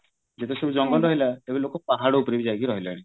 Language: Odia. ଯେତେ ସବୁ ଜଙ୍ଗଲ ରହିଲା ଏବେ ଲୋକ ପାହାଡ ଉପରେ ବି ଯାଇକି ରହିଲେଣି